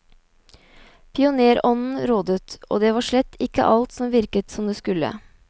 Pionérånden rådet, og det var slett ikke alt som virket som det skulle.